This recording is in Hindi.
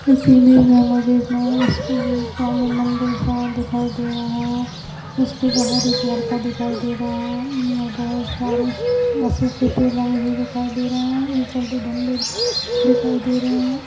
इस इमेज में स्वामी मंदिर सा दिखाई दे रहा है। उसके बाहर एक लड़का दिखाई दे रहा है। बहुत सारे अशोक के पेड़ लगे हुये दिखाई दे रहे हैं। ऊपर दो झंडे दिखाई दे रहे हैं।